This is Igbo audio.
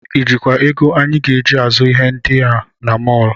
I jikwa ego anyị ji azụ ihe ndị a na mọl?